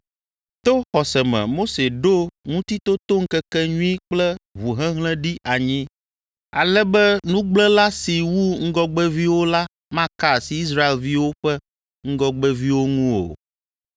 To xɔse me Mose ɖo Ŋutitotoŋkekenyui kple ʋuhehlẽ ɖi anyi, ale be nugblẽla si wu ŋgɔgbeviwo la maka asi Israelviwo ƒe ŋgɔgbeviwo ŋu o.